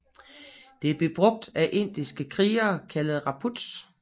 Det blev brugt af indiske krigere kaldet rajputs